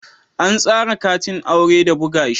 An tsara katin aure da buga shi